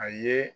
A ye